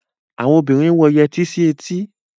Àwon obinrin ń wọ yẹtí sí etí.